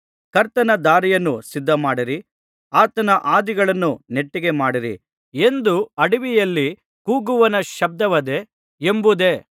ಕರ್ತನ ದಾರಿಯನ್ನು ಸಿದ್ಧಮಾಡಿರಿ ಆತನ ಹಾದಿಗಳನ್ನು ನೆಟ್ಟಗೆ ಮಾಡಿರಿ ಎಂದು ಅಡವಿಯಲ್ಲಿ ಕೂಗುವವನ ಶಬ್ದವದೆ ಎಂಬುದೇ